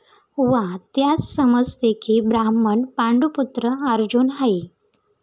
वा त्यास समजते की ब्राह्मण पांडूपुत्र अर्जुन आहे.